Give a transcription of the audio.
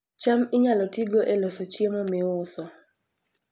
cham inyalo tigo e loso chiemo miuso